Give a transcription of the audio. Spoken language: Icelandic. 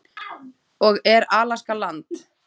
og Er Alaska land?